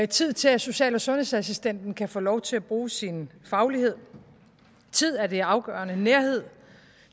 tid til at social og sundhedsassistenten kan få lov til at bruge sin faglighed tid er det afgørende nærhed